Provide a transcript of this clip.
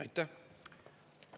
Aitäh!